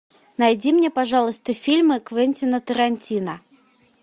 найди мне пожалуйста фильмы квентина тарантино